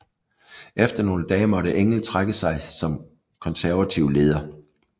Efter nogle dage måtte Engell trække sig som konservativ leder